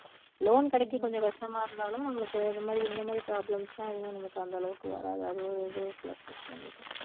loan கிடைக்க கொஞ்சம் கஷ்டமா இருந்தாலும் நம்மளுக்கு இது மாதிரி இந்த மாதிரி problems லாம் எதுவும் நமக்கு அந்த அளவுக்கு வராது அது ஒரு இதுவும் plus இருக்கு நம்மளுக்கு